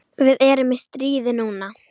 Við erum í stríði núna.